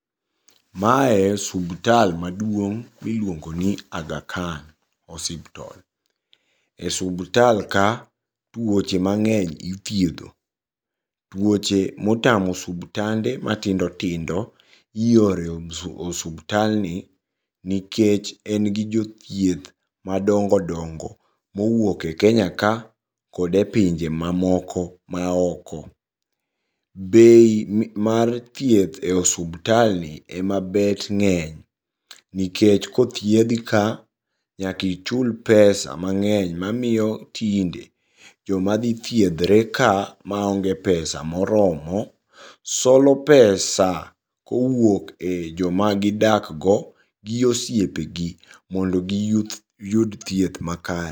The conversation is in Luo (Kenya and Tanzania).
Mae subtal maduong' miluongoni Aga Khan osiptol. E subtal ka tuoche mang'eny ithiedho. Tuoche motamo subtande matindo tindo ioro e osubtalni nikech en gi jothieth madongo dongo mowuok e Kenya ka kode pinje mamoko maoko. Bei mar thieth e osubtalni ema bet ng'eny nikech kothiethi ka nyaka ichul pesa mang'eny mamiyo tinde joma dhi thiethre ka maonge pesa moromo ,solo pesa kowuok e joma gidakgo gi osiepgi mondo giyud thieth makare.